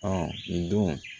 nin don